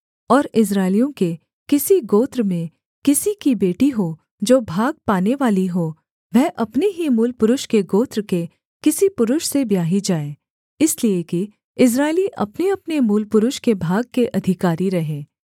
और इस्राएलियों के किसी गोत्र में किसी की बेटी हो जो भाग पानेवाली हो वह अपने ही मूलपुरुष के गोत्र के किसी पुरुष से ब्याही जाए इसलिए कि इस्राएली अपनेअपने मूलपुरुष के भाग के अधिकारी रहें